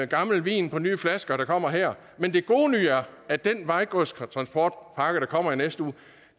gammel vin på nye flasker der kommer her men den gode nyhed er at den vejgodstransportpakke der kommer i næste uge